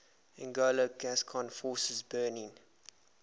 anglo gascon forces burning